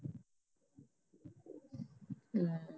ਹਮ